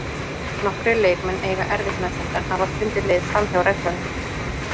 Nokkrir leikmenn eiga erfitt með þetta en hafa fundið leið framhjá reglunum.